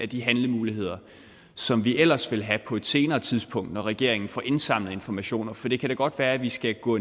de handlemuligheder som vi ellers ville have på et senere tidspunkt når regeringen får indsamlet informationer for det kan da godt være at vi skal gå